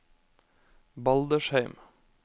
Baldersheim